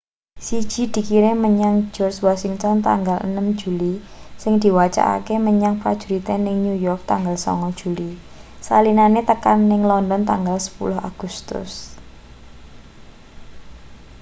siji dikirim menyang george washington tanggal 6 juli sing diwacakne menyang prajurite ning new york tanggal 9 juli salinane tekan ning london tanggal 10 agustus